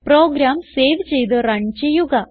programme save ചെയ്ത് run ചെയ്യുക